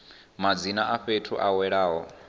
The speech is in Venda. madzina a fhethu a welaho